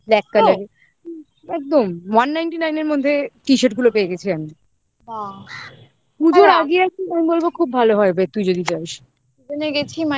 দেখ একদম one ninety nine এর মধ্যে t-shirt গুলো পেয়ে গেছি আমি পুজোর আগে আর কি আমি বলবো খুব ভালো হয়, তুই যদি যাস